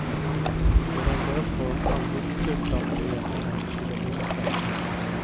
Sedan dess har hon aldrig flyttat mer än en kilometer.